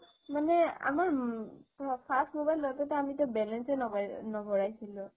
এ আমাৰ first mobile লওতে তো আমিতো balance এ নভৰাইছিলো